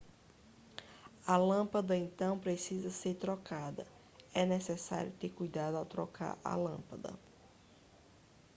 a lâmpada então precisa ser trocada é necessário ter cuidado ao trocar a lâmpada